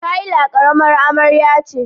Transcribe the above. Kayla karamar amarya ce.